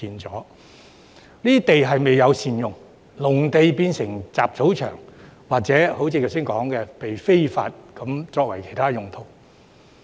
這些土地未有善用，農田變成雜草場，甚或如剛才提到被人非法用作其他用途。